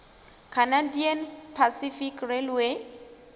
canadian pacific railway